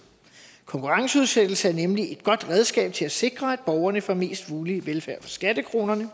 konkurrenceudsættelse er nemlig et godt redskab til at sikre at borgerne får mest mulig velfærd for skattekronerne